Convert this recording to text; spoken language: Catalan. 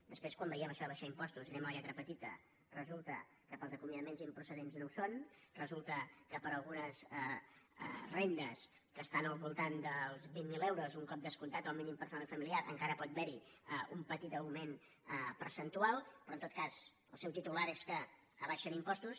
després quan veiem això d’abaixar impostos i anem a la lletra petita resulta que per als acomiadaments improcedents no ho són resulta que per a algunes rendes que estan al voltant dels vint mil euros un cop descomptat el mínim personal i familiar encara pot haver hi un petit augment percentual però en tot cas el seu titular és que abaixen impostos